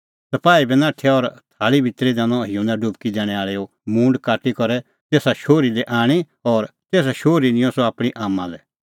सपाही बी नाठै और थाल़ा भितरी दैनअ युहन्ना डुबकी दैणैं आल़ैओ मूंड काटी करै तेसा शोहरी लै आणी और तेसा शोहरी निंयं सह आपणीं आम्मां लै